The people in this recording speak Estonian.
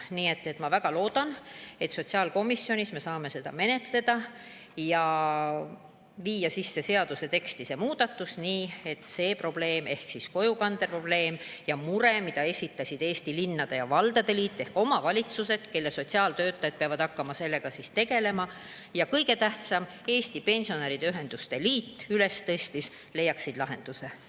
Nii et ma väga loodan, et sotsiaalkomisjonis me saame seda menetleda ja viia seaduse teksti selle muudatuse, nii et see probleem ehk kojukandeprobleem ja mure, mille esitasid Eesti Linnade ja Valdade Liit ehk omavalitsused, kelle sotsiaaltöötajad peavad hakkama sellega tegelema, ja kõige tähtsam, mille Eesti Pensionäride Ühenduste Liit üles tõstis, leiaks lahenduse.